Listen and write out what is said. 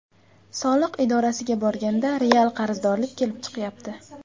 Soliq idorasiga borganda real qarzdorlik kelib chiqyapti.